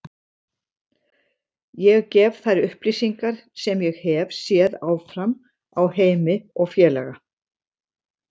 Ég gef þær upplýsingar sem ég hef séð áfram á Heimi og félaga.